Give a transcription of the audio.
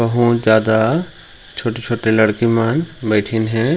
बहुत ज्यादा छोटे-छोटे लड़की मन बैठीन हे।